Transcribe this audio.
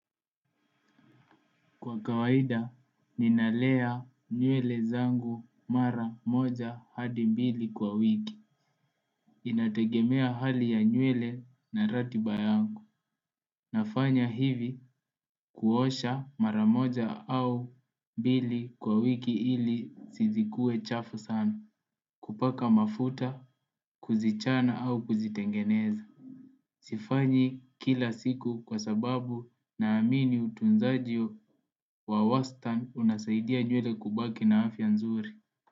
Kwa kawaida ninalea nywele zangu mara moja hadi mbili kwa wiki inategemea hali ya nywele na ratiba yangu nafanya hivi kuosha mara moja au mbili kwa wiki ili sizikue chafu sana kupaka mafuta kuzichana au kuzitengeneza. Sifanyi kila siku kwa sababu naamini utunzaji wa wastan unasaidia nywele kubaki na afya nzuri.